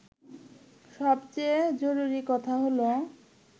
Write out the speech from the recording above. সবচেয়ে জরুরি কথা হলো